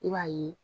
I b'a ye